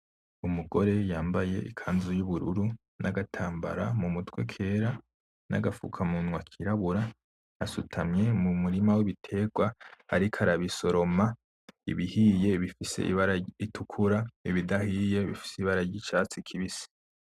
Umugore yambaye ikanzu y'ubururu n'agatambara mumutwe kera, n'agafukamunwa kirabura asutamye mumurima wibiterwa ariko arabisoroma, ibihiye bifise ibara ritukura ibidahiye bifise ibara ryicatsi kibisi.